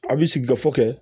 A bɛ sigi gafe kɛ